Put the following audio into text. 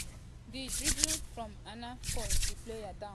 di driblle from aina fall di player down oooo.